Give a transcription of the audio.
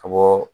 Ka bɔ